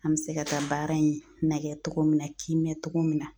An bɛ se ka taa baara in nagɛ togo min na kimɛ togo min na